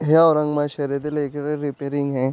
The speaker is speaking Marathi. हे औरंगाबाद शहरातील एक रे रेपारींग है.